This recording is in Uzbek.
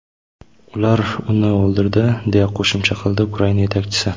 Ular uni o‘ldirdi”, deya qo‘shimcha qildi Ukraina yetakchisi.